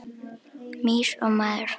Mýs og maður.